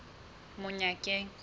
monyakeng